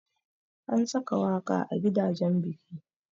Ana saka waƙa a gidajan biki.